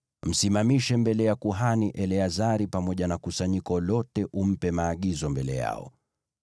Msimamishe mbele ya kuhani Eleazari pamoja na kusanyiko lote, umpe maagizo mbele yao.